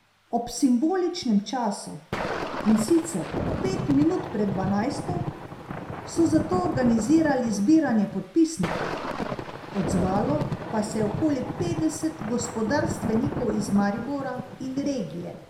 Ob simboličnem času, in sicer pet minut pred dvanajsto, so zato organizirali zbiranje podpisnikov, odzvalo pa se je okoli petdeset gospodarstvenikov iz Maribora in regije.